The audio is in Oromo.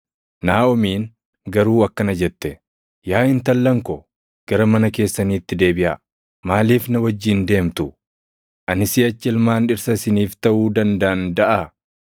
Naaʼomiin garuu akkana jette; “Yaa intallan ko, gara mana keessaniitti deebiʼaa. Maaliif na wajjin deemtu? Ani siʼachi ilmaan dhirsa isiniif taʼuu dandaʼan daʼaa?